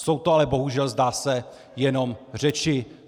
Jsou to ale bohužel zdá se jenom řeči.